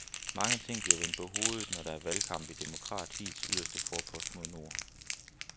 Mange ting bliver vendt på hovedet, når der er valgkamp i demokratiets yderste forpost mod nord.